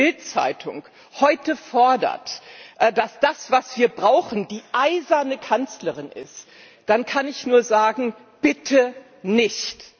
Wenn die Bild Zeitung heute fordert, dass das, was wir brauchen, die eiserne Kanzlerin ist, dann kann ich nur sagen Bitte nicht!